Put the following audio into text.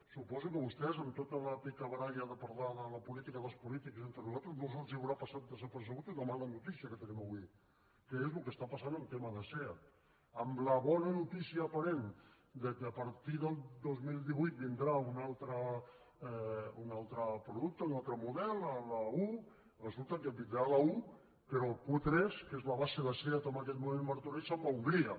suposo que a vostès amb tota la picabaralla de parlar de la política dels polítics i d’entre nosaltres no els haurà passat desapercebuda una mala notícia que tenim avui que és el que està passant en el tema de seat amb la bona notícia aparent que a partir de dos mil divuit vindrà un altre producte un altre model l’a1 resulta que vindrà l’a1 però el q3 que és la base de seat en aquest moment a martorell se’n va a hongria